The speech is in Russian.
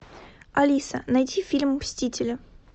алиса найди фильм мстители